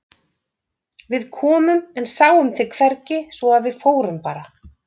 Við komum en sáum þig hvergi svo að við fórum bara.